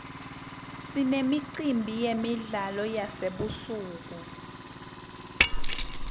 sinemicimbi yemidlalo yasebusuku